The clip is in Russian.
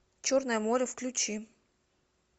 черное море включи